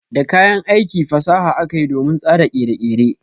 Da kayan aiki fasaha akayi domin tsara kere-kere.